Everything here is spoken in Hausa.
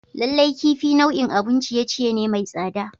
Lallai kifi nau'in abun ciye-ciye ne mai tsada.